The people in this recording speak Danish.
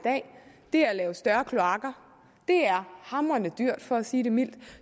det er at lave større kloakker det er hamrende dyrt for at sige det mildt